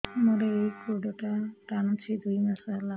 ମୋର ଏଇ ଗୋଡ଼ଟା ଟାଣୁଛି ଦୁଇ ମାସ ହେଲା